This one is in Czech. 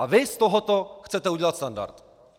A vy z tohoto chcete udělat standard!